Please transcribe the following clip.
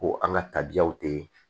Ko an ka tabiyaw tɛ